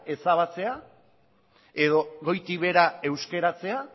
ezabatzea edo goitik behera euskaratzea